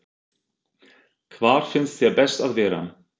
Hvar finnst þér best að vera?